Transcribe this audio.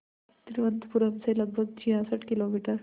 तिरुवनंतपुरम से लगभग छियासठ किलोमीटर